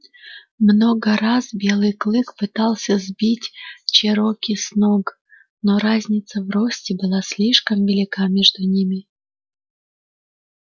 много раз белый клык пытался сбить чероки с ног но разница в росте была слишком велика между ними